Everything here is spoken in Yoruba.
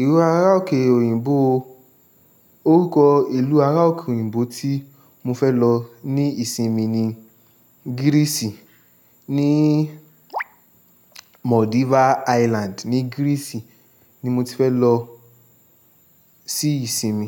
Ìlú ará òkè òyìnbó, orúkọ ìlú ará òkè òyìnbó tí mo fẹ́ lọ ní ìsinmi ni Greece ní Maldives Island ní Greece ni mo ti fẹ́ lọ sí ìsinmi.